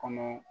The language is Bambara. Kɔnɔ